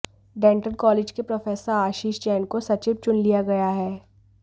dental college के professor Ashish Jain को सचिव चुन लिया गया है